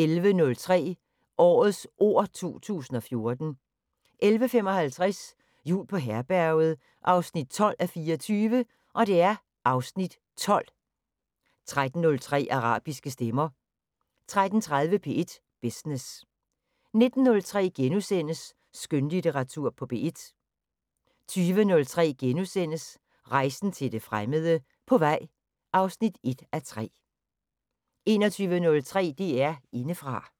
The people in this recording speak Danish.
11:03: Årets ord 2014 11:55: Jul på Herberget 12:24 (Afs. 12) 13:03: Arabiske stemmer 13:30: P1 Business 19:03: Skønlitteratur på P1 * 20:03: Rejsen til det fremmede: På vej (1:3)* 21:03: DR Indefra